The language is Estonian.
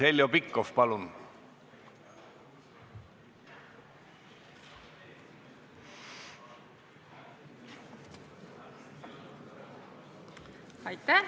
Heljo Pikhof, palun!